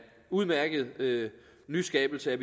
udmærket nyskabelse